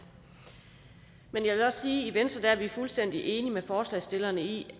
men jeg vil også sige i venstre er fuldstændig enige med forslagsstillerne i